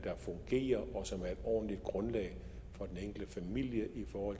ordentligt grundlag for den enkelte familie